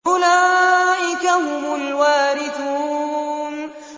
أُولَٰئِكَ هُمُ الْوَارِثُونَ